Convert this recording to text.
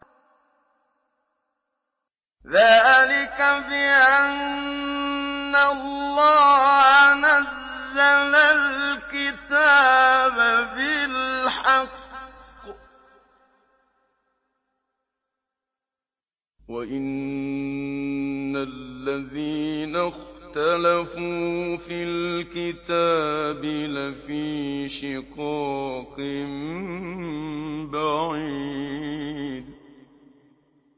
ذَٰلِكَ بِأَنَّ اللَّهَ نَزَّلَ الْكِتَابَ بِالْحَقِّ ۗ وَإِنَّ الَّذِينَ اخْتَلَفُوا فِي الْكِتَابِ لَفِي شِقَاقٍ بَعِيدٍ